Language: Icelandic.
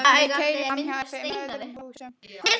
Ég keyri framhjá henni og fimm öðrum húsum.